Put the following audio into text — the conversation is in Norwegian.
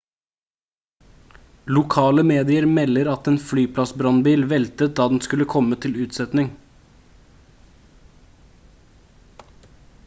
lokale medier melder at en flyplassbrannbil veltet da den skulle komme til unnsetning